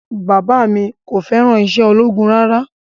Bàbá mi kò fẹ́ràn iṣẹ́ ológun rárá